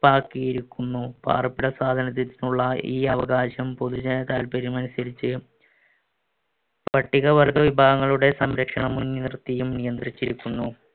പ്പാക്കിയിരിക്കുന്നു. പാർപ്പിട സ്വാതന്ത്ര്യത്തിനുള്ള ഈ അവകാശം പൊതുജനതാല്പര്യം അനുസരിച്ച് പട്ടികവർഗ്ഗ വിഭാഗങ്ങളുടെ സംരക്ഷണം മുൻനിർത്തിയും നിയന്ത്രിച്ചിരിക്കുന്നു.